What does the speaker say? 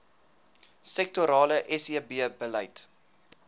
sektorale sebbeleid